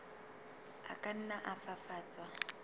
a ka nna a fafatswa